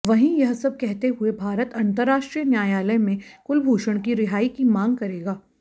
वहीं यह सब कहते हुए भारत अंतरराष्ट्रीय न्यायालय में कुलभूषण की रिहाई की मांग करेगा